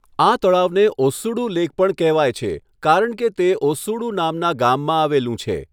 આ તળાવને ઓસ્સુડુ લેક પણ કહેવાય છે કારણ કે તે ઓસ્સુડુ નામના ગામમાં આવેલું છે.